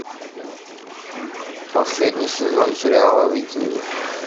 последний сезон сериала викинги